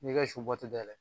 N'i y'i ka su dayɛlɛ.